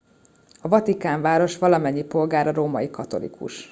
a vatikánváros valamennyi polgára római katolikus